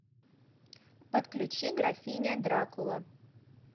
подключи графиня дракула